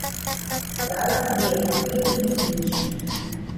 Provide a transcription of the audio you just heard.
Dala mi je papir in svinčnik.